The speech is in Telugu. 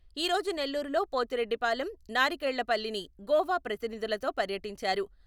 ఈ రోజు నెల్లూరులో పోతిరెడ్డిపాలెం నారికేళ్ళపల్లిని గోవా ప్రతినిధులతో పర్యటించారు.